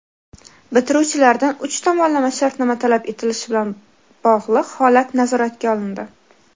Bitiruvchilardan uch tomonlama shartnoma talab etilishi bilan bog‘liq holat nazoratga olindi.